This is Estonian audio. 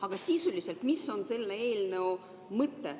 Aga sisuliselt, mis on selle eelnõu mõte?